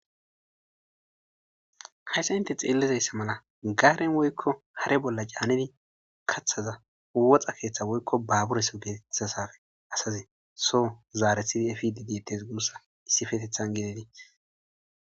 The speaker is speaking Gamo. hayssa inte xeellizayssa mala gaaren woykko hare bolla caanidi kaththaza woxa keeththa woykko baabureso geetetasafe asaze so zaarethidi efididiettes gussa issifetethan gedetii